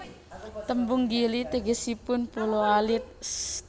Tembung Gili tegesipun pulo alit